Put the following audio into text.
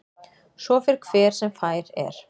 Svo fer hver sem fær er.